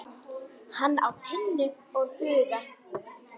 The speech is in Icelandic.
Hann á Tinnu og Huga.